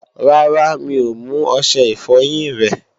Rárá, mi ò mú ọṣẹ ìfọyín rẹ